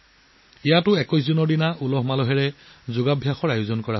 ইয়াতো ২১ জুনত এক দৰ্শনীয় যোগাভ্যাসৰ আয়োজন কৰা হৈছিল